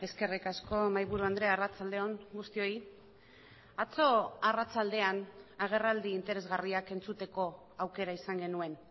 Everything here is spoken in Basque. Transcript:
eskerrik asko mahaiburu andrea arratsalde on guztioi atzo arratsaldean agerraldi interesgarriak entzuteko aukera izan genuen